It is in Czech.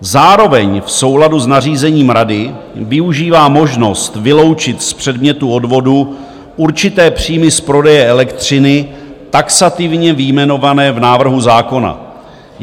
Zároveň v souladu s nařízením Rady využívá možnost vyloučit z předmětu odvodu určité příjmy z prodeje elektřiny, taxativně vyjmenované v návrhu zákona.